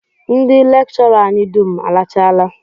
Ndị lekchọra anyị dum alachaala